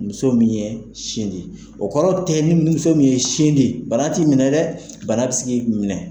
Muso min ye sin di, o kɔrɔ tɛ ni min ye sin di bana t'i minɛ dɛ, bana bɛ se k'i minɛ.